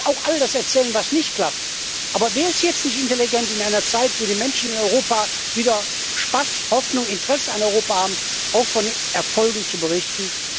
Ich kann auch all das erzählen, was nicht klappt. Aber wäre es jetzt nicht intelligent, in einer Zeit, in der die Menschen in Europa wieder Spaß, Hoffnung, Interesse an Europa haben, auch von den Erfolgen zu berichten?